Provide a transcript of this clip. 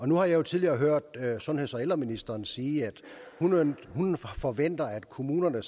nu har jeg jo tidligere hørt sundheds og ældreministeren sige at hun forventer at kommunerne